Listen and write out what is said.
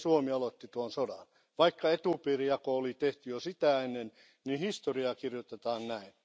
Pieni Suomi aloitti tuon sodan, vaikka etupiirijako oli tehty jo sitä ennen, niin historiaa kirjoitetaan näin.